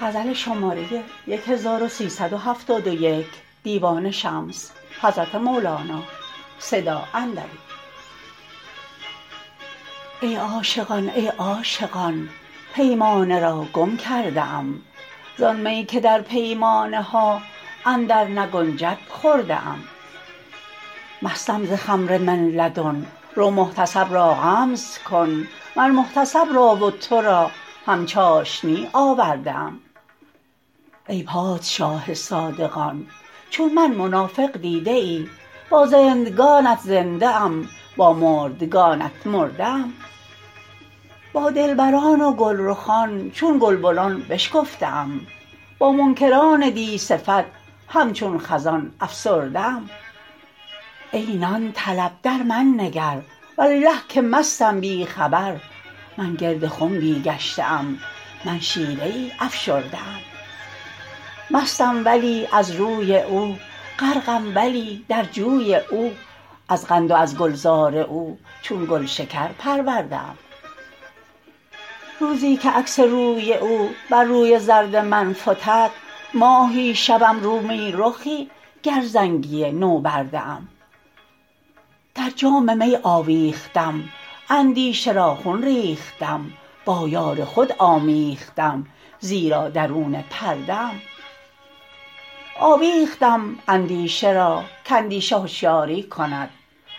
ای عاشقان ای عاشقان پیمانه را گم کرده ام زان می که در پیمانه ها اندرنگنجد خورده ام مستم ز خمر من لدن رو محتسب را غمز کن مر محتسب را و تو را هم چاشنی آورده ام ای پادشاه صادقان چون من منافق دیده ای با زندگانت زنده ام با مردگانت مرده ام با دلبران و گلرخان چون گلبنان بشکفته ام با منکران دی صفت همچون خزان افسرده ام ای نان طلب در من نگر والله که مستم بی خبر من گرد خنبی گشته ام من شیره ای افشرده ام مستم ولی از روی او غرقم ولی در جوی او از قند و از گلزار او چون گلشکر پرورده ام روزی که عکس روی او بر روی زرد من فتد ماهی شوم رومی رخی گر زنگی نوبرده ام در جام می آویختم اندیشه را خون ریختم با یار خود آمیختم زیرا درون پرده ام آویختم اندیشه را کاندیشه هشیاری کند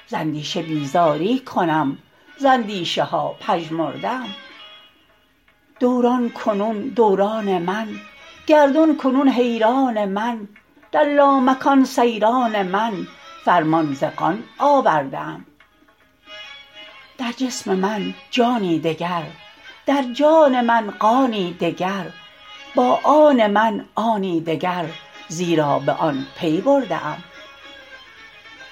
ز اندیشه بیزاری کنم ز اندیشه ها پژمرده ام دوران کنون دوران من گردون کنون حیران من در لامکان سیران من فرمان ز قان آورده ام در جسم من جانی دگر در جان من قانی دگر با آن من آنی دگر زیرا به آن پی برده ام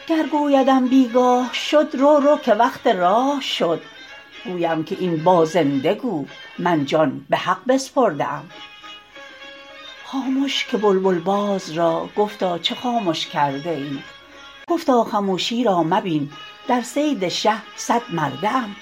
گر گویدم بی گاه شد رو رو که وقت راه شد گویم که این با زنده گو من جان به حق بسپرده ام خامش که بلبل باز را گفتا چه خامش کرده ای گفتا خموشی را مبین در صید شه صدمرده ام